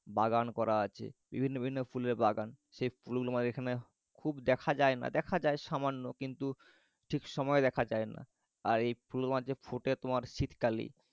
বাগান করা আছে বিভিন্ন বিভিন্ন ফুলের বাগান। সেগুলো মানে তোমার এখানে খুব দেখা যায়না। দেখা যায় সামান্য কিন্তু ঠিক সময়ে দেখা যায়না। আর এই ফুল তোমার ফোটে মানে শীতকালেই